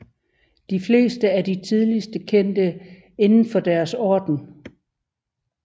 De fleste er de tidligst kendte inden for deres orden